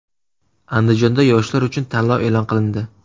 Andijonda yoshlar uchun tanlov e’lon qilindi.